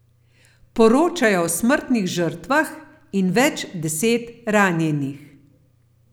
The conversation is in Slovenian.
Poročajo o smrtnih žrtvah in več deset ranjenih.